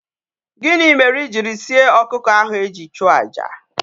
Gini mere ijiri sie okuko ahu eji chuo aja?